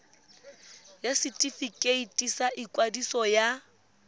ya setefikeiti sa ikwadiso ya